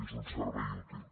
és un servei útil